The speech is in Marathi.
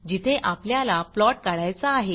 जिथे आपल्याला प्लॉट काढायचा आहे